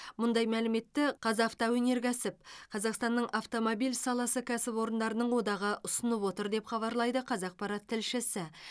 мұндай мәліметті қазавтоөнеркәсіп қазақстанның автомобиль саласы кәсіпорындарының одағы ұсынып отыр деп хабарлайды қазақпарат тілшісі